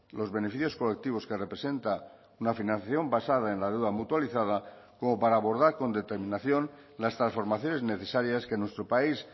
los beneficios colectivos que representa una financiación basada en la deuda mutualizada como para abordar con determinación las transformaciones necesarias que nuestro país